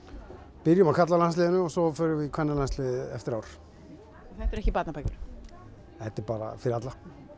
byrjum á karlalandsliðinu og svo förum við í kvennalandsliðið eftir ár þetta eru ekki barnabækur þetta er bara fyrir alla